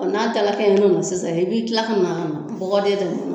N'a talakɛ ɲɔn ma sisan i b'i kila ka na bɔgɔden ne ma